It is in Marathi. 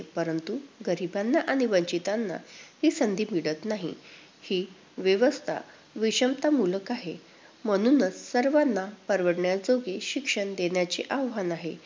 परंतु, गरिबांना आणि वंचितांना ही संधी मिळत नाही. ही व्यवस्था विषमतामूलक आहे. म्हणूनच सर्वांना परवडण्याजोगे शिक्षण देण्याचे आव्हान आहे.